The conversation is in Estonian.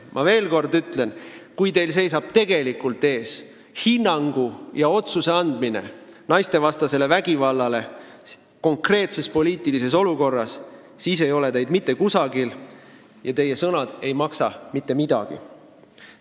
Ma veel kord ütlen, et kui teil tuleb tegelikult anda hinnang naistevastasele vägivallale konkreetses poliitilises olukorras, siis ei ole teid mitte kusagil ja teie sõnad ei maksa mitte midagi.